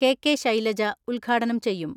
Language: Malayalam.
കെ.കെ. ശൈലജ ഉദ്ഘാടനം ചെയ്യും.